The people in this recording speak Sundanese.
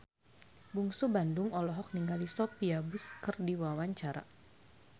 Bungsu Bandung olohok ningali Sophia Bush keur diwawancara